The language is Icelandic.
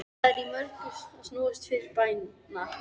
Það er í mörgu að snúast fyrir bæna